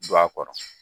Don a kɔrɔ